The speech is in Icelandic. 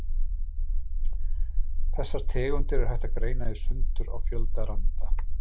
Þessar tegundir er hægt að greina í sundur á fjölda randa.